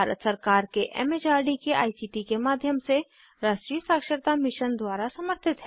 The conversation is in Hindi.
यह भारत सरकार के एम एच आर डी के आई सी टी के माध्यम से राष्ट्रीय साक्षरता मिशन द्वारा समर्थित है